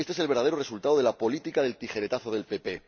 Este es el verdadero resultado de la política del tijeretazo del PP